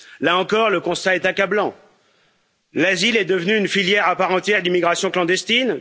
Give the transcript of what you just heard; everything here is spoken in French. Là encore, le constat est accablant l'asile est devenu une filière à part entière d'immigration clandestine.